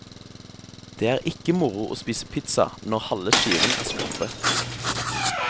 Det er ikke moro å spise pizza når halve skiven er skorpe.